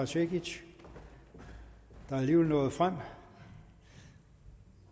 cekic der alligevel nåede frem